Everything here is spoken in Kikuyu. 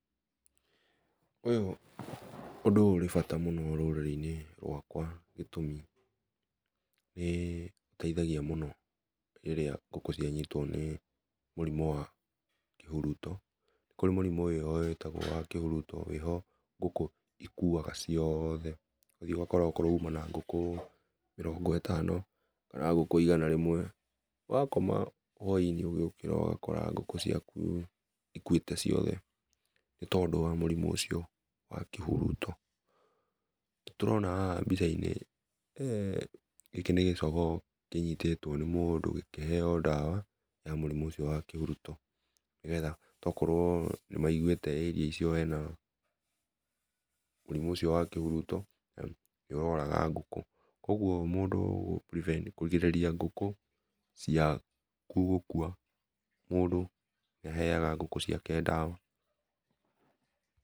Ũyũ ũndũ ũrĩ bata mũno rũrĩrĩ-inĩ rwakwa gĩtũmi nĩ ũteithagia mũno rĩrĩa ngũkũ cianyitwo nĩ mũrimũ wa kĩhuruto. Kũrĩ mũrimũ ũyũ wĩtagwo wa kĩhuruto wĩho ngũkũ cikuaga ciothe. Ũgũthiĩ okorwo uma na ngũkũ mĩrongo ĩtano kana ngũkũ igana rĩmwe, wakoma hwainĩ rũciinĩ ũgĩũkĩra ũgakora ngũkũ ciaku cikuĩte ciothe nĩ tondũ wa mũrimũ ũcio wa kĩhuruto. Nĩtũrona haha mbica-inĩ gĩkĩ nĩ gĩcogoo kĩnyitĩtwo nĩ mũndũ gĩkĩheo ndawa ya mũrimũ ũcio wa kĩhuruto nĩ getha tokorwo nĩ maiguĩte ĩria icio hena mũrimũ ũcio wa kĩhuruto na nĩ ũroraga ngũkũ. Kũoguo mũndũ kũrigĩrĩria ngũkũ ciaku gũkua, mũndũ nĩaheaga ngũkũ ciake ndawa.